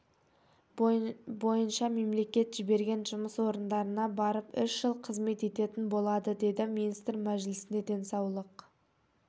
бойынша мемлекет жіберген жұмыс орындарына барып үш жыл қызмет ететін болады деді министр мәжілісте денсаулық